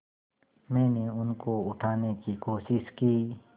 मैंने उनको उठाने की कोशिश की